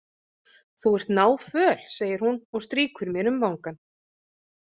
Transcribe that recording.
Þú ert náföl, segir hún og strýkur mér um vangann.